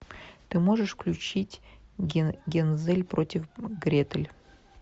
ты можешь включить гензель против гретель